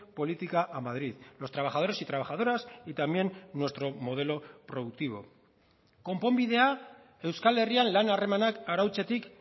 política a madrid los trabajadores y trabajadoras y también nuestro modelo productivo konponbidea euskal herrian lan harremanak arautzetik